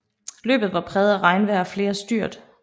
Løbet var præget af regnvejr og flere styrt